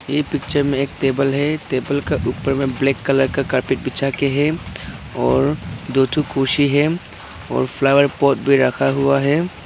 यह पिक्चर में एक टेबल है। टेबल का ऊपर में ब्लैक कलर का कारपेट बिछा के हैं और दो कुर्सी है और फ्लावर पॉट भी रखा हुआ है।